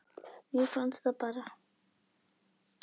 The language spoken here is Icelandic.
Mér fannst það bara.